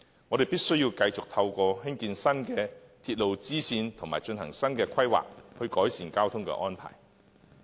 我們必須繼續透過興建新的鐵路支線和進行新的規劃，改善交通安排。